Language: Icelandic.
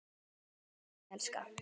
Guð blessi þig, elskan.